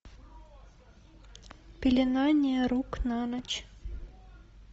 пеленание рук на ночь